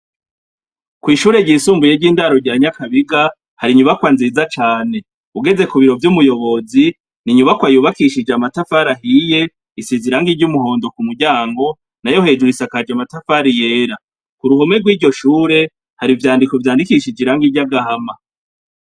Kwishure ryisumbuye ryindaro rya Nyakabiga, hari inyubakwa nziza cane, ugeze kubiro vy'umuyobozi, n'inyubakwa yubakishijwe amatafari ahiye , isize irangi ry'umuhondo kumuryango nayo hejuru isakajwe amatafari yera. Kuruhome gwiryo shure hari ivyandiko vyandikishije irangi ry'agahama.